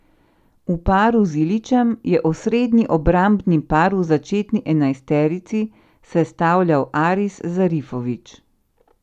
V paru z Ilićem je osrednji obrambni par v začetni enajsterici sestavljal Aris Zarifović.